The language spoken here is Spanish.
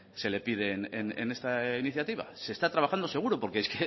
se le pide en esta iniciativa se está trabajando seguro porque es